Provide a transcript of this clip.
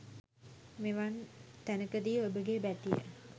මෙවන් තැනකදී ඔබගේ බැතිය